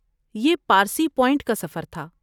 یہ پارسی پوائنٹ کا سفر تھا۔